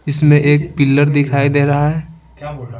इसमें एक पिलर दिखाई दे रहा है।